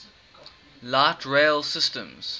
light rail systems